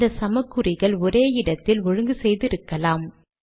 இந்த சமக்குறிகள் ஒரே இடத்தில் ஒழுங்கு செய்து இருக்கலாம்